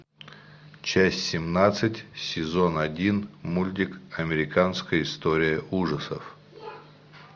часть семнадцать сезон один мультик американская история ужасов